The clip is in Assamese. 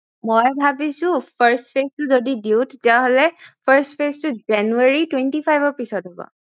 মই ভাবিছো first phase টো যদি দিও তেতিয়া হলে first phase টো জানুৱাৰী twnety five ৰ পিছত হব